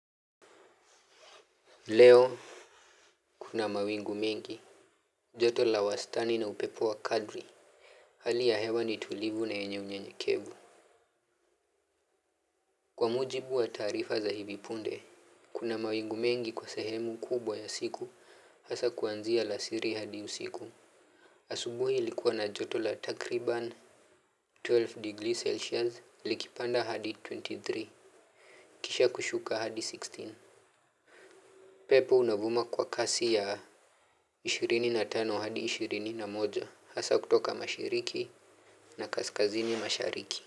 Leo, kuna mawingu mengi. Joto la wastani na upepo wa kadri. Hali ya hewa ni tulivu na yenye unyenyekevu. Kwa mujibu wa taarifa za hivi punde, kuna mawingu mengi kwa sehemu kubwa ya siku. Hasa kuanzia alasiri hadi usiku. Asubuhi ilikuwa na joto la takriban. kumi na mbili degrees Celsius likipanda hadi ishirini na tatu. Kisha kushuka hadi kumi na sita. Pepo unavuma kwa kasi ya ishirini na tano hadi ishirini na moja. Hasa kutoka mashiriki na kaskazini mashariki.